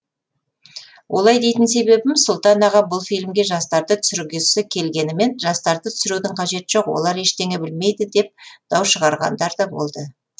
олай дейтін себебім сұлтан аға бұл фильмге жастарды түсіргісі келгенімен жастарды түсірудің қажеті жоқ олар ештеңе білмейді деп дау шығарғандар да болды